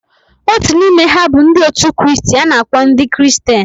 Otu n'ime ha bụ ndị otu Kristi a na-akpọ ndị Kristian.